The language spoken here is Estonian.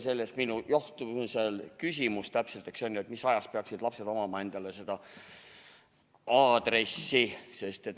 Sellest johtus ka minu küsimus, täpselt, eks ju, et mis ajast peaksid lapsed omama seda aadressi.